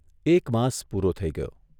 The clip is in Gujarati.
એક માસ પૂરો થઇ ગયો.